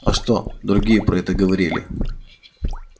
а что другие про это говорили